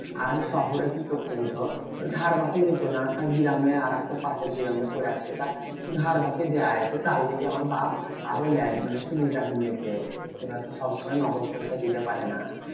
আর শহরে কি করতো বলতো? ধার বাকি দিতো না। তা গ্রামে আরেকটা পাশের গ্রামে করেছে তা ধার বাকি দেয়। তো তার লেগে আমার বাপ্ আরো লেয়। মানে সুবিধা মিলছে এবার তো সবসময় নগদ পয়সা দিতে পারে না।